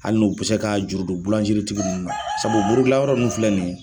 Hali n'u bɛ se k'a juru don bulanzeritigi ninnu na sabu buru dilan yɔrɔ ninnu filɛ ninnu